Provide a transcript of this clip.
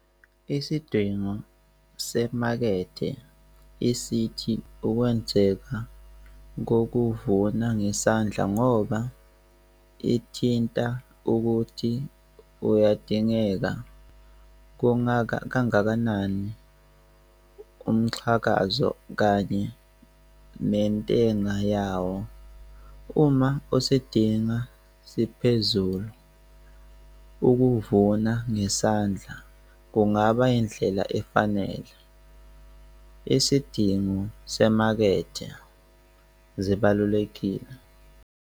Isidingo semakethe isithi ukwenzeka ukuvuna ngesandla ngoba ithinta ukuthi uyadingeka. Kungakha kangakanani umxhakazo kanye mentenga yawo. Uma usedinga siphezulu, ukuvuna ngesandla, kungaba indlela efanele. Isidingo semakethe zibalulekile.